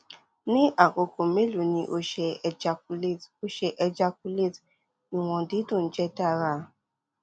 ni akoko melo ni o ṣe ejaculate o ṣe ejaculate iwọn didun jẹ dara